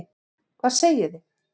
Hvað segið þið?